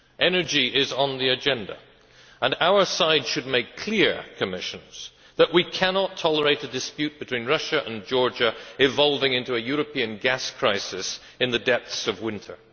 Energy is on the agenda, and our side should make clear that we cannot tolerate a dispute between Russia and Georgia evolving into a European gas crisis in the depths of winter.